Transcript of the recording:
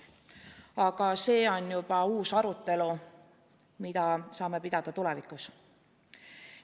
Aga see on juba uus arutelu, mida saame pidada tulevikus.